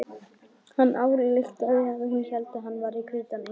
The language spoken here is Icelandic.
Hann ályktaði að hún héldi hann vera hvítan engil.